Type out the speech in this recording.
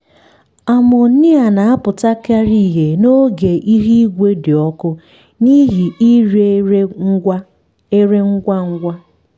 amonia na-apụtakarị ihe n’oge ihu igwe dị ọkụ n'ihi ire ere ngwa ere ngwa ngwa.